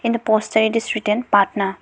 in the poster it is written patna.